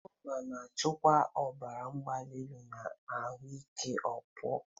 Kukumba na-achịkwa ọbara mgbali na ahụike ọkpụkpụ.